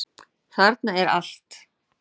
Þarna er allt.